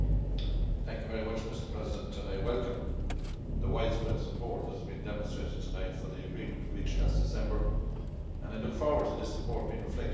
Mr President, I welcome the widespread support that has been demonstrated tonight for the agreement reached last December and I look forward to this support being reflected in the vote tomorrow.